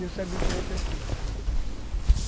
E eu sabia que você tinha.